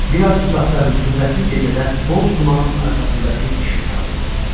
Biraz uzaqda rütubətli gecədə boz dumanın arxasında bir işıq parıldayırdı.